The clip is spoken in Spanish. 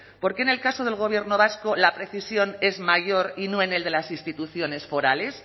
por qué en el caso del gobierno vasco la precisión es mayor y no en el de las instituciones forales